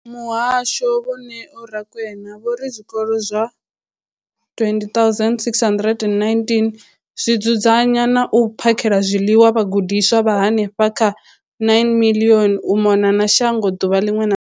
Muhasho, vho Neo Rakwena, vho ri zwikolo zwa 20 619 zwi dzudzanya na u phakhela zwiḽiwa vhagudiswa vha henefha kha 9 032 622 u mona na shango ḓuvha ḽiṅwe na ḽiṅwe.